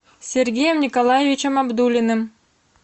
сергеем николаевичем абдуллиным